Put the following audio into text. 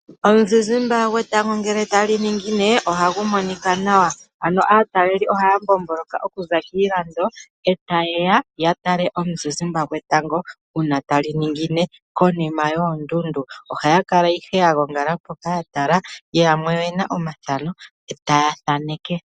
Oonte dhetango uuna tali ningine ohadhi monika nawa. Aatalelipo ohaya mbomboloka okuza kiilando e taye ya ya tale oonte dhetango uuna tali ningine konima yoondundu. Ohaya kala ihe ya gongala mpoka ya tala. Yamwe oye na omathano e taya thaneke.